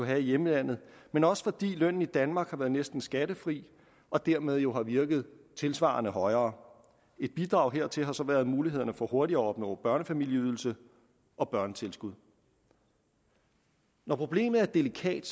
har i hjemlandet men også fordi lønnen i danmark har været næsten skattefri og dermed jo har virket tilsvarende højere et bidrag hertil har så været mulighederne for hurtigere at opnå børnefamilieydelse og børnetilskud når problemet er delikat